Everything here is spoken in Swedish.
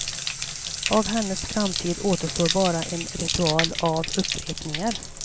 Av hennes framtid återstår bara en ritual av upprepningar.